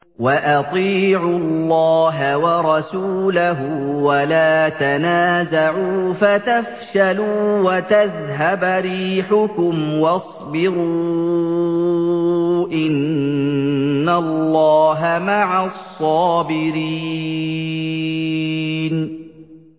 وَأَطِيعُوا اللَّهَ وَرَسُولَهُ وَلَا تَنَازَعُوا فَتَفْشَلُوا وَتَذْهَبَ رِيحُكُمْ ۖ وَاصْبِرُوا ۚ إِنَّ اللَّهَ مَعَ الصَّابِرِينَ